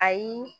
Ayi